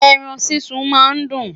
ẹran sísun má n dun